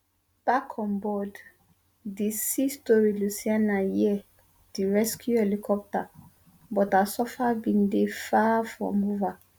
back on board di sea story lucianna hear di rescue helicopter but her suffer bin dey far from over